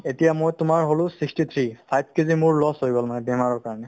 এতিয়া মই তোমাৰ হ'লো sixty three five KG মোৰ loss হৈ গ'ল মানে বেমাৰৰ কাৰণে